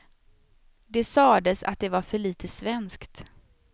Det sades att det var för lite svenskt.